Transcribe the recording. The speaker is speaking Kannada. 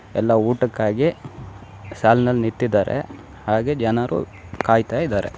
ಎಲ್ಲ ಊಟಕ್ಕಾಗಿ ಎಲ್ಲ ಸಾಲ್ ನಲ್ಲಿ ನಿಂತಿದ್ದಾರೆ ಹಾಗೆ ಜನರು ಕಾಯತಾಯಿದ್ದಾರೆ.